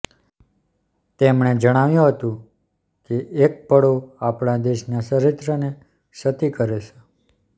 તેમણે જણાવ્યું હતું કે એક પળો આપણા દેશના ચરિત્રને છતી કરે છે